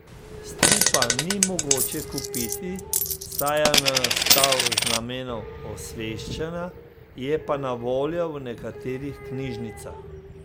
Stripa ni mogoče kupiti, saj je nastal z namenom osveščanja, je pa na voljo v nekaterih knjižnicah.